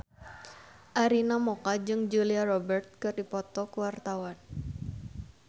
Arina Mocca jeung Julia Robert keur dipoto ku wartawan